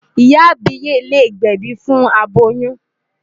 Ìyá àbíyè lè gbẹ̀bi fún aboyún.